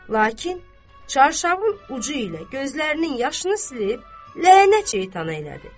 Lakin Çarşağul ucu ilə gözlərinin yaşını silib, lənət şeytana elədi.